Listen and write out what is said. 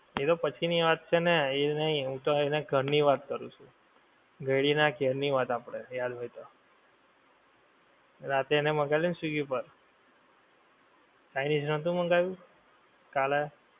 એ તો પછી ની વાત છે ને એ નહીં હું તો એની ઘર ની વાત કરું છું ઘએંડી ના ઘેર ની આપડે યાદ હોએ તો રાતે એને મંગાએલુ ને swiggy ઉપર chinese નતો મંગાયેલુ કાલે